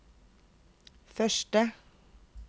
første